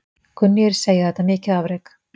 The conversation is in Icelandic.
Kunnugir segja þetta mikið afrek.